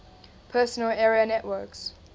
personal area networks